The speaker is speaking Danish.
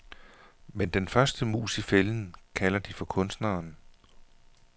Men den første mus i fælden, kalder de for kunstneren.